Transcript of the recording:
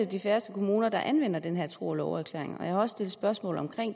de færreste kommuner der anvender den her tro og love erklæring og jeg har også stillet spørgsmål om